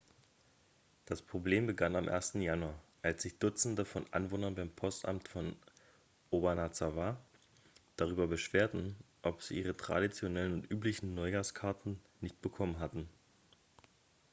das problem begann am 1. januar als sich dutzende von anwohnern beim postamt von obanazawa darüber beschwerten dass sie ihre traditionellen und üblichen neuhjahrskarten nicht bekommen hatten